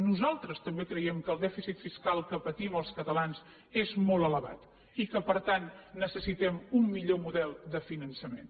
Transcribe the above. nosaltres també creiem que el dèficit fiscal que patim els catalans és molt elevat i que per tant necessitem un millor model de finançament